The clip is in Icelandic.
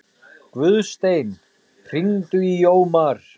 Guðstein, hringdu í Jómar.